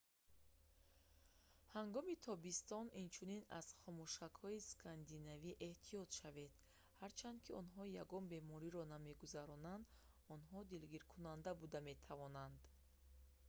ҳангоми тобистон инчунин аз хомӯшакҳои скандинавӣ эҳтиёт шавед ҳарчанд ки онҳо ягон бемориро намегузаронанд онҳо дилгиркунанда буда метавонанд